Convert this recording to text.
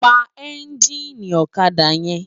Pá ènjini òkadá yèn